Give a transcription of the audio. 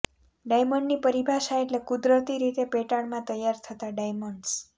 ડાયમંડની પરિભાષા એટલે કુદરતી રીતે પેટાળમાં તૈયાર થતા ડાયમંડસ